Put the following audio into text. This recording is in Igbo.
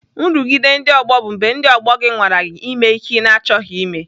Nrụgide ndị ọgbọ bụ mgbe ndị ọgbọ gị nwara gị ime ihe ị na-achọghị ime.